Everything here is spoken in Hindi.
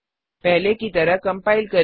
पहले की तरह कम्पाइल करें